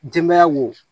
Denbaya wo